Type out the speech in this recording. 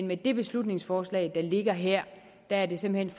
med det beslutningsforslag der ligger her er det simpelt